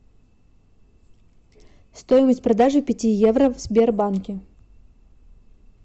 стоимость продажи пяти евро в сбербанке